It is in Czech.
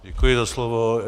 Děkuji za slovo.